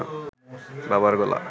বাবার গলা